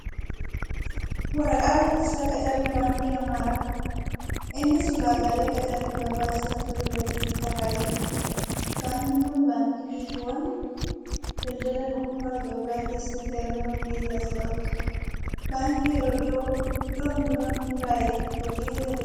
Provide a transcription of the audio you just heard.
Waraqaa beeksisa qacarri baankii Amaaraa. Innis ulaagaalee qacarriif barbaachisantu irratti tarraa'ee jira. Baankii kun baankiiwwa daldalaa dhuunfaa Itiyoophiyaa kessatti argaman keessa isa tokko. Baankii yeroo dhiyoon dura hundaa'e hojii eegaleedha.